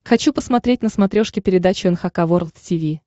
хочу посмотреть на смотрешке передачу эн эйч кей волд ти ви